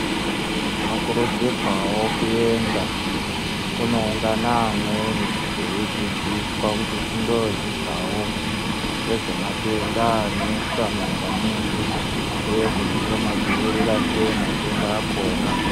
Tinokurudzirwavo kuenda kunoungana amweni veidzidziswa kuti tindo dzidzavo, ngezvematenda anesa munyika medu, uye kuti tomadzivirira sei matenda akona.